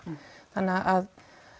þannig að